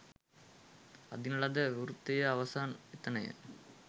අඳින ලද වෘතයේ අවසානය එතනය.